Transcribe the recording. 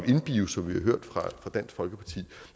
in bio som vi har hørt fra dansk folkeparti